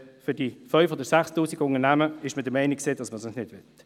Für die 5000 oder 6000 Unternehmen war man der Meinung, man wolle das nicht.